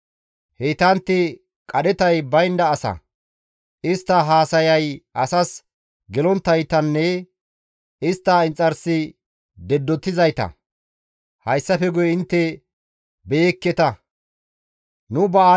Heytantti qadhetay baynda asa; istta haasayay asas gelonttaytanne istta inxarsi deddotizayta; hayssafe guye intte istta beyekketa.